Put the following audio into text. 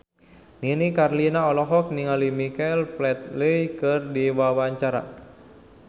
Nini Carlina olohok ningali Michael Flatley keur diwawancara